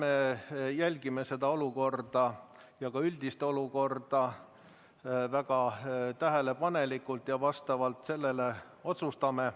Eks me jälgime seda olukorda ja ka üldist olukorda väga tähelepanelikult ja selle põhjal otsustame.